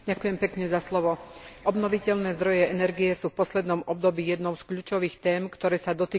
Obnoviteľné zdroje energie sú v poslednom období jednou z kľúčových tém, ktoré sa dotýkajú trhu s energiou.